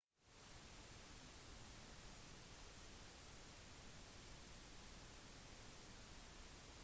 toppen av tårnet var et spesielt fristed laget for guden